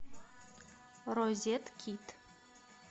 розеткед